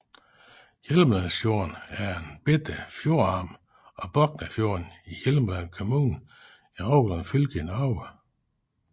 Hjelmelandsfjorden er en lille fjordarm af Boknafjorden i Hjelmeland kommune i Rogaland fylke i Norge